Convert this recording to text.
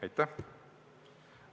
Aitäh!